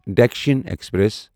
Dakshin express